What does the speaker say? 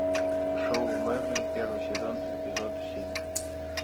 шоу мерлин первый сезон эпизод семь